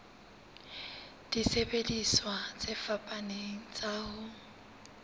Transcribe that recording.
disebediswa tse fapaneng tsa ho